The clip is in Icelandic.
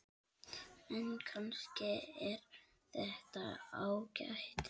En kannski er þetta ágætt.